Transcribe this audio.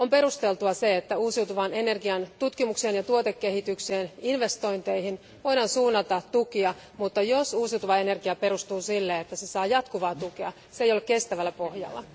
On perusteltua, että uusiutuvaan energian tutkimukseen, tuotekehitykseen ja investointeihin voidaan suunnata tukia, mutta jos uusiutuva energia perustuu sille, että se saa jatkuvaa tukea, se ei ole kestävällä pohjalla.